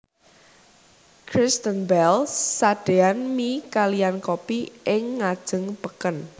Kristen Bell sadeyan mie kaliyan kopi ing ngajeng peken